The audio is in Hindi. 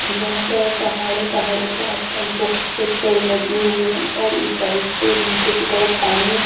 यहां पर पहाड़े पहाड़ों के आस पास बहोत से पेड़ लगे हुए हैं और ऊंचाई से नीचे की तरफ पानी--